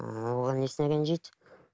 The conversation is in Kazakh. ыыы оған несіне ренжиді